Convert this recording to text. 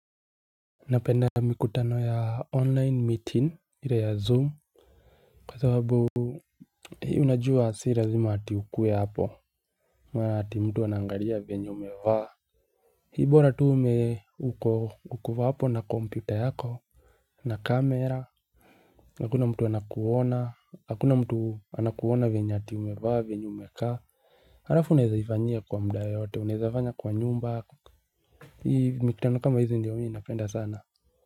Napenda mikutano ya online meeting ile ya zoom kwa sababu Hii unajua si lazima ati ukuwe hapo ama ati mtu anaangalia venye umevaa. Hii bora tu ume, uko, uko hapo na kompyuta yako na kamera. Hakuna mtu anakuona, hakuna mtu anakuona venye ati umevaa venye umekaa Halafu unaezaifanyia kwa muda yoyote, unaezafanya kwa nyumba Hii, mikitano kama hizi ndio mimi napenda sana.